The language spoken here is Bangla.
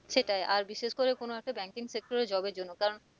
সেটাই আর বিশেষ করে কোনো একটা banking sector এ job এর জন্য কারণ